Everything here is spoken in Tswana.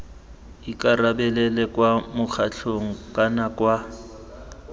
ikarabelela kwa mokgatlhong kana kwa